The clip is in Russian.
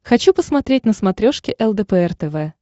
хочу посмотреть на смотрешке лдпр тв